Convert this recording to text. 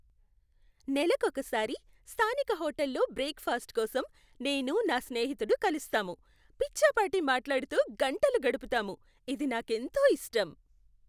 నెలకొకసారి స్థానిక హోటల్లో బ్రేక్ ఫాస్ట్ కోసం నేను నా స్నేహితుడు కలుస్తాము. పిచ్చాపాటి మాట్లాడుతూ గంటలు గడుపుతాము. ఇది నాకెంతో ఇష్టం.